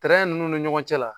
ninnu ni ɲɔgɔn cɛ la